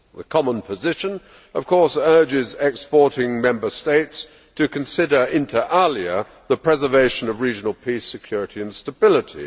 The common position, of course, urges exporting Member States to consider, inter alia, the preservation of regional peace, security and stability.